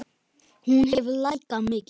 Hún hefur lækkað mikið.